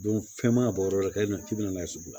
fɛn ma bɔ o yɔrɔ kelen na k'i bɛna n'a ye sugu la